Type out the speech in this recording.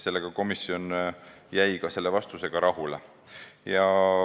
Selle vastusega jäi komisjon rahule.